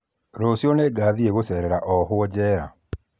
Rũciũ nĩngathiĩ gũcerera ohwo jera